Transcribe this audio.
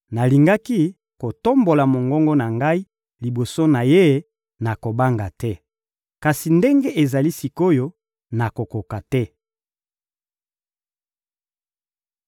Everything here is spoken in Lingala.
nalingaki kotombola mongongo na ngai liboso na Ye na kobanga te. Kasi ndenge ezali sik’oyo, nakokoka te.